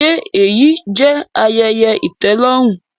Ṣe eyi jẹ ayẹyẹ itẹlọrun?